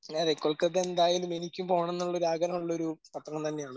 അതെ കൊൽക്കത്ത എന്തായാലും എനിക്കും പോണം എന്നുള്ള ഒരു ആഗ്രഹം ഉള്ളൊരു പട്ടണം തന്നെയാണ്.